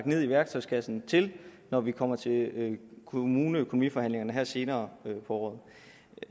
ned i værktøjskassen når vi kommer til kommuneøkonomiforhandlingerne her senere på året